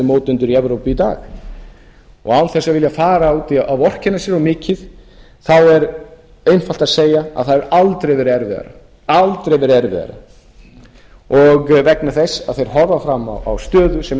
í evrópu í dag og án þess að vilja fara út í að vorkenna sér of mikið þá er einfalt að segja að það hefur aldrei verið erfiðara vegna þess að þeir horfa fram á stöðu sem er